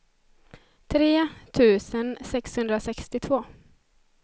tre tusen sexhundrasextiotvå